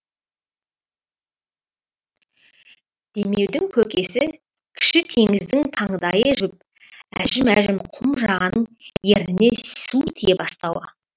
демеудің көкесі кіші теңіздің таңдайы жібіп әжім әжім құм жағаның ерніне су тие бастауы